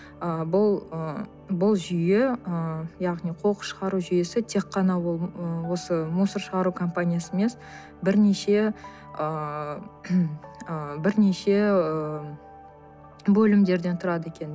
ы бұл ы бұл жүйе ы яғни қоқыс шығару жүйесі тек қана ол ы осы мусор шығару компаниясы емес бірнеше ыыы ыыы бірнеше ыыы бөлімдерден тұрады екен